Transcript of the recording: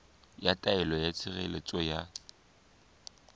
ya taelo ya tshireletso ya